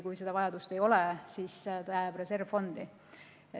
Kui seda vajadust ei ole, siis see raha jääb reservfondi.